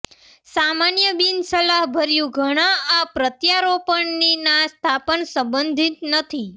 સામાન્ય બિનસલાહભર્યું ઘણા આ પ્રત્યારોપણની ના સ્થાપન સંબંધિત નથી